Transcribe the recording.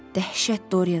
Dəhşət Doryan.